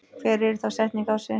Hver yrði þá setning ársins?